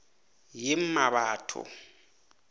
yemmabatho